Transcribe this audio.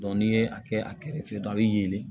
n'i ye a kɛ a kɛrɛfɛ a bɛ yelen